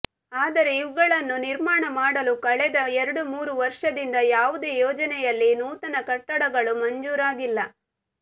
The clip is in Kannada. ಆದರೆ ಇವುಗಳನ್ನು ನಿರ್ಮಾಣ ಮಾಡಲು ಕಳೆದ ಎರಡು ಮೂರು ವರ್ಷದಿಂದ ಯಾವುದೇ ಯೋಜನೆಯಲ್ಲಿ ನೂತನ ಕಟ್ಟಡಗಳು ಮಂಜೂರಾಗಿಲ್ಲ